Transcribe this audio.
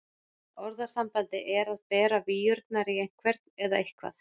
Orðasambandið er að bera víurnar í einhvern eða eitthvað.